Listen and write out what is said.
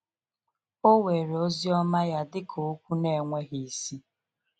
O were ozioma ya dịka okwu n'enweghi isi?